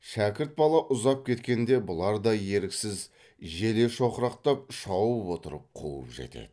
шәкірт бала ұзап кеткенде бұлар да еріксіз желе шоқырақтап шауып отырып қуып жетеді